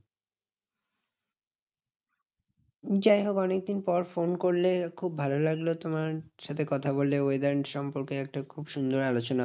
যাইহোক অনেক দিন পর ফোন করলে খুব ভালো লাগলো তোমার সাথে কথা বলে। weather সম্পর্কে একটা খুব সুন্দর আলোচনা